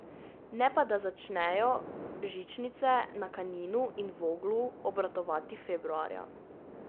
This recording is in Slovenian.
Ne pa da začnejo žičnice na Kaninu in Voglu obratovati februarja.